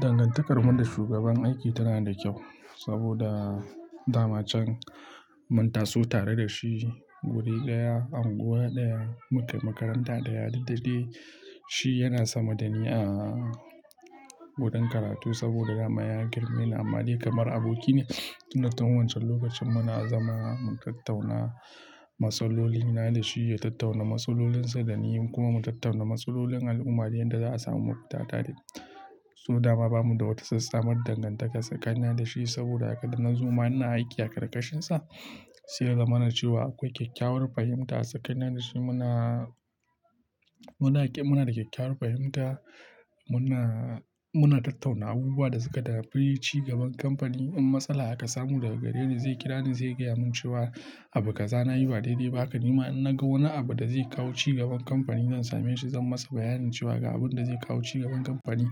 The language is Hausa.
Dangantakar mu da shugaban aiki tana da kyau saboda dama can mun taso tare da shi wuri gaya, unguwa ɗaya, mukai makaranta ɗaya. Duk daddaishi yana sama da ni a gadon karatu saboda dama ya girme ni, amma dai kamar aboki ne. Tun nan wancan lokacin muna zama mun tattauna masaloli, na da shi ya tattauna maslolinsa da ni kuma mun tattauna maslolin al'ummari yanda za a samu magwata tare. Saboda dama bamu da wata sassa mar dangantaka tsakanin da shi saboda daga nan zuwa muna aiki a karkashinsa. Siya lalla mana cewa akwai kyakkyawar fahimta tsakanin da shi. Muna Muna, muna da kyakkyawar fahimta. Muna, muna tattauna abubuwan da suka dace. Cigaban kamfani in matsala aka samu daga gare shi zai kira ni, zai gaya mun cewa abu kaza nayi ba daidai ba. Haka nima in na ga wani abu da zai kawo cigaban kamfani zan same shi, zan masa bayanin cewa ga abun da zai kawo cigaban kamfani